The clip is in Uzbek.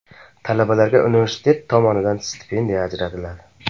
Talabalarga universitet tomonidan stipendiya ajratiladi.